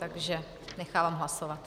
Takže nechávám hlasovat.